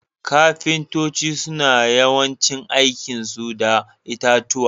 Ƙafintoci suna yawancin aiki su da itatuwa.